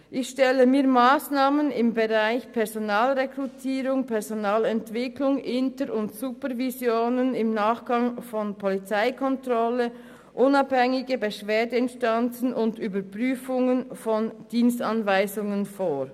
Ich stelle mir Massnahmen im Bereich Personalrekrutierung, Personalentwicklung, Inter- und Supervisionen im Nachgang von Polizeikontrollen, unabhängige Beschwerdeinstanzen und Überprüfungen von Dienstanweisungen vor.